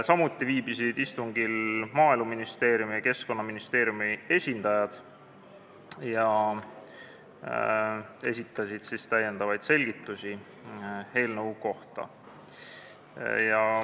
Samuti on istungil viibinud Maaeluministeeriumi ja Keskkonnaministeeriumi esindajad ning on esitanud lisaselgitusi eelnõu kohta.